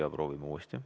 Jaa, proovime uuesti.